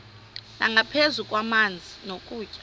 nangaphezu kwamanzi nokutya